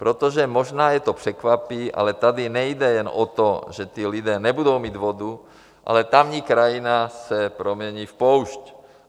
Protože možná je to překvapí, ale tady nejde jen o to, že ti lidé nebudou mít vodu, ale tamní krajina se promění v poušť.